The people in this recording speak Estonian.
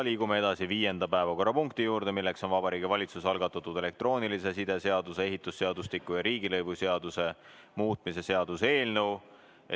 Liigume edasi viienda päevakorrapunkti juurde, milleks on Vabariigi Valitsuse algatatud elektroonilise side seaduse, ehitusseadustiku ja riigilõivuseaduse muutmise seaduse eelnõu.